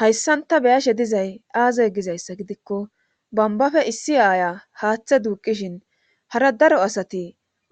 Hayssan ta beyashe dizay aazay gizayssa gidikko bambafe issi aaya haaththe duuqishin hara daro asati